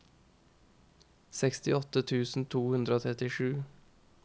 sekstiåtte tusen to hundre og trettisju